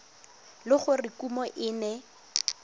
le gore kumo e ne